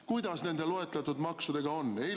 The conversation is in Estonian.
Kuidas nende loetletud maksudega on?